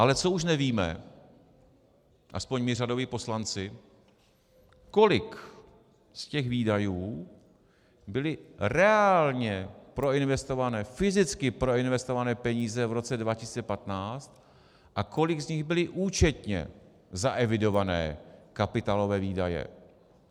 Ale co už nevíme, aspoň my řadoví poslanci, kolik z těch výdajů byly reálně proinvestované, fyzicky proinvestované peníze v roce 2015 a kolik z nich byly účetně zaevidované kapitálové výdaje.